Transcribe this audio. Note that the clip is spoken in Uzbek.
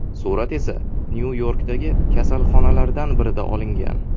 Surat esa Nyu-Yorkdagi kasalxonalardan birida olingan.